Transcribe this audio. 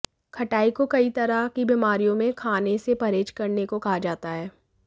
खटाई को कई तरह की बीमारियों में खाने से परहेज करने को कहा जाता है